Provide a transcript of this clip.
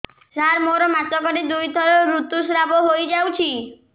ସାର ମୋର ମାସକରେ ଦୁଇଥର ଋତୁସ୍ରାବ ହୋଇଯାଉଛି